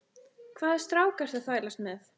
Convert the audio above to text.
Hvaða strák ertu að þvælast með?